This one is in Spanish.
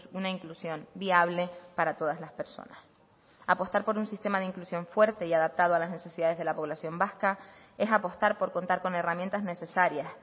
una inclusión viable para todas las personas apostar por un sistema de inclusión fuerte y adaptado a las necesidades de la población vasca es apostar por contar con herramientas necesarias